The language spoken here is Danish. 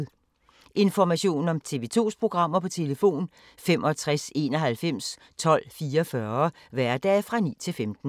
Information om TV 2's programmer: 65 91 12 44, hverdage 9-15.